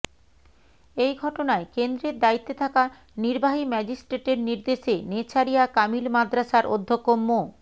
এই ঘটনায় কেন্দ্রের দায়িত্বে থাকা নির্বাহী ম্যাজিস্ট্রেটের নির্দেশে নেছারিয়া কামিল মাদ্রাসার অধ্যক্ষ মো